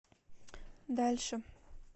дальше